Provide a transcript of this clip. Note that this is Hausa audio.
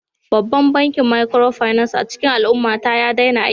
Babban bankin Micropinaci a cikin al'ummata ya daina aiki